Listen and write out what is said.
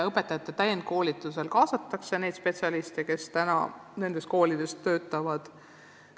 Õpetajate täienduskoolitusel kaasataksegi spetsialiste, kes nendes koolides töötavad.